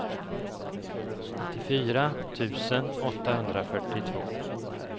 nittiofyra tusen åttahundrafyrtiotvå